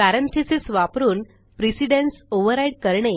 parenthesesवापरून precedence override करणे